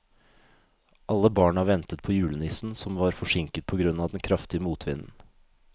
Alle barna ventet på julenissen, som var forsinket på grunn av den kraftige motvinden.